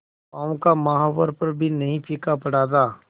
पांव का महावर पर भी नहीं फीका पड़ा था